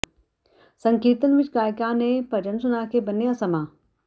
ਸੰਕੀਰਤਨ ਵਿਚ ਗਾਇਕਾਂ ਨੇ ਭਜਨ ਸੁਣਾ ਕੇ ਬੰਨਿ੍ਹਆ ਸਮਾਂ